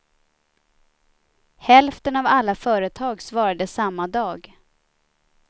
Hälften av alla företag svarade samma dag.